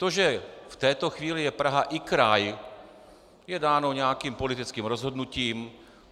To, že v této chvíli je Praha i kraj, je dáno nějakým politickým rozhodnutím.